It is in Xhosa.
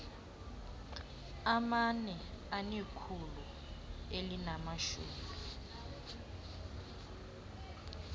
amane anekhulu elinamashumi